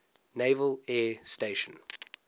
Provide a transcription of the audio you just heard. naval air station